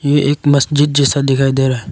ये एक मस्जिद जैसा दिखाई दे रहा है।